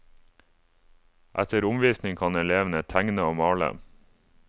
Etter omvising kan elevene tegne og male.